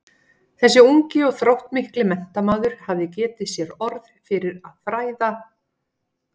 Þessi ungi og þróttmikli menntamaður hafði getið sér orð fyrir að fræða